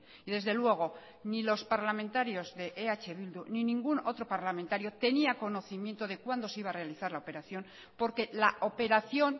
y desde luego ni los parlamentarios de eh bildu ni ningún otro parlamentario tenía conocimiento de cuándo se iba a realizar la operación porque la operación